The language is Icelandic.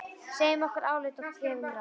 Segjum okkar álit og gefum ráð.